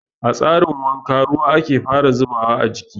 A tsarin wanka ruwa ake fara zubawa a jiki.